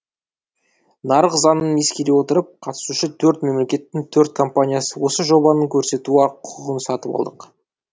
нарық заңын ескере отырып қатысушы төрт мемлекеттің төрт компаниясы осы жобаны көрсету құқығын сатып алдық